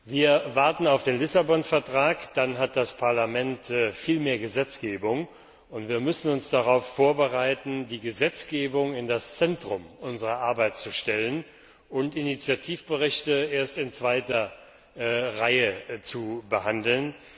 Wir warten auf den Lissabon Vertrag, dann hat das Parlament viel mehr Gesetzgebungsbefugnisse, und wir müssen uns darauf vorbereiten, die Gesetzgebung in das Zentrum unserer Arbeit zu stellen und Initiativberichte erst in zweiter Reihe zu behandeln.